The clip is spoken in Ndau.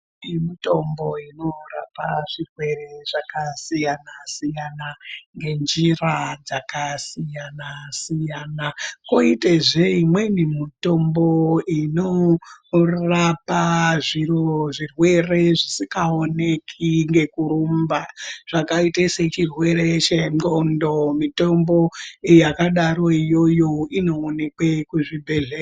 Mitombo inorapa zvirwere zvakasiyana siyana ,ngenjira dzakasiyana siyana. Koite zveimwe mitombo unorapa zvimwe zvirwere zvisingawoneki ngekurumba, zvakaita sechirwere chengqondo, mitombo yakadaro iyoyo inowonekwa kuzvibhedlera.